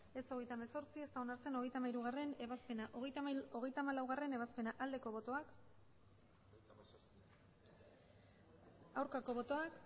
ez hogeita hemezortzi ez da onartzen hogeita hamairugarrena ebazpena hogeita hamalaugarrena ebazpena aldeko botoak aurkako botoak